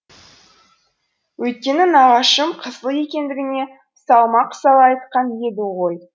өйткені нағашым қызыл екендігіне салмақ сала айтқан еді ғой